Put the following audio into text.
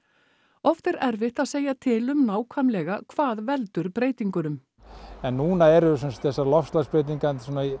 oft er erfitt að segja til um nákvæmlega hvað veldur breytingunum en núna eru þessar loftslagsbreytingar